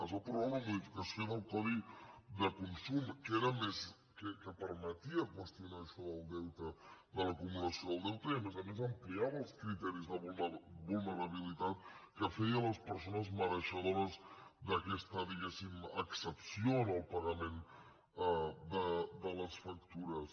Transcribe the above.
es va aprovar una modificació del codi de consum que permetia qüestionar això del deute de l’acumulació del deute i a més a més ampliava els criteris de vulnerabilitat que feia les persones mereixedores d’aquesta diguéssim excepció en el pagament de les factures